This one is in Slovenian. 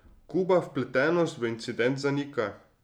Kuba vpletenost v incident zanika.